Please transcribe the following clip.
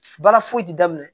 Baara foyi ti daminɛ